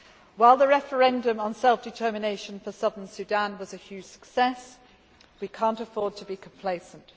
While the referendum on self determination for Southern Sudan was a major success, we cannot afford to be complacent.